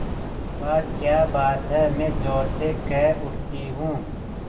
वाह क्या बात है मैं ज़ोर से कह उठती हूँ